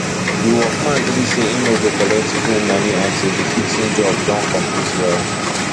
the workman gree say he no go collect full money until the fixing job don complete well